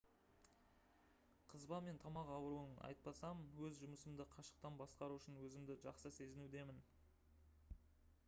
қызба мен тамақ ауруын айтпасам өз жұмысымды қашықтан басқару үшін өзімді жақсы сезінудемін